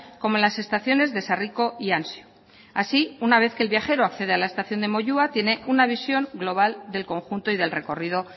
como las estaciones de sarriko y ansio así una vez que el viajero accede a la estación de moyua tiene una visión global del conjunto y del recorrido